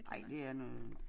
Ej det er noget